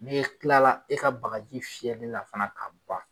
N'i kilala e ka bakaji fiyɛli la fana ka ban